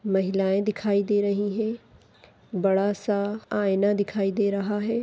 महिलाए दिखाई दे रही है बड़ा सा आईना दिखाई दे रहा है।